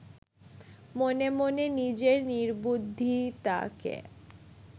মনে মনে নিজের নির্বুদ্ধিতাকে